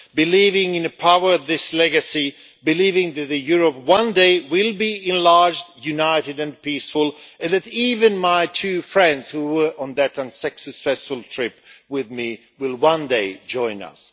Believing in the power of this legacy, believing that Europe one day will be enlarged, united and peaceful and that even my two friends who were on that unsuccessful trip with me will one day join us.